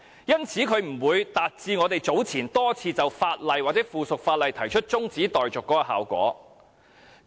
因此，不會達致我們早前多次就法案或附屬法例動議中止待續議案的效果。